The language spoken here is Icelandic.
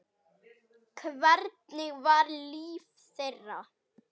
Hvernig var líf þeirra?